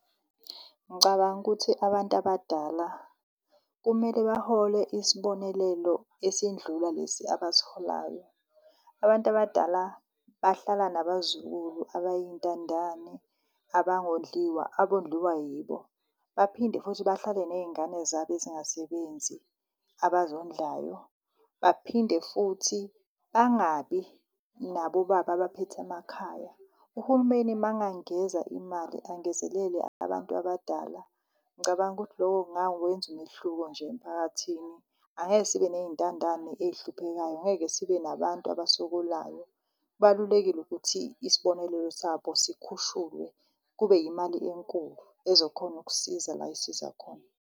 Ngicabanga ukuthi abantu abadala kumele bahole isibonelelo esindlula lesi abasiholayo. Abantu abadala bahlala nabazukulu abay'ntandane abangondliwa, abondliwa yibo. Baphinde futhi bahlale ney'ngane zabo ezingasebenzi abazondlayo, baphinde futhi bangabi nabobaba abaphethe emakhaya. Uhulumeni mangangeza imali angezelele abantu abadala ngicabanga ukuthi loko ngawenza umehluko nje emphakathini. Angeke sibe ney'ntandane ey'hluphekayo, ngeke sibe nabantu abasokolayo. Kubalulekile ukuthi isibonelelo sabo sikhushulwe kube yimali enkulu ezokhona ukusiza la esiza khona.